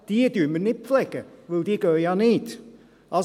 Diese pflegen wir nicht, weil diese ja nicht gehen.